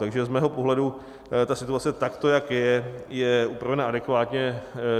Takže z mého pohledu ta situace takto, jak je, je upravena adekvátně.